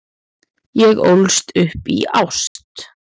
Ég ólst upp í ást.